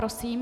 Prosím.